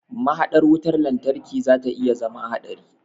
Mahaɗar wutar lantarki zata iya zama haɗari.